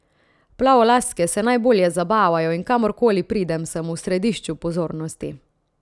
Plavolaske se najbolje zabavajo in kamor koli pridem, sem v središču pozornosti.